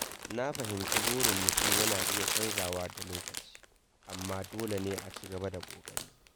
Na fahimci burin mutum yana iya canzawa da lokaci, amma dole ne a ci gaba da ƙoƙari.